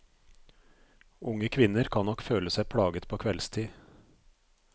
Unge kvinner kan nok føle seg plaget på kveldstid.